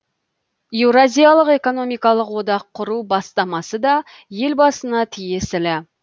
еуразиялық экономикалық одақ құру бастамасы да елбасына тиесілі